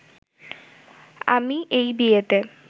আমি এই বিয়েতে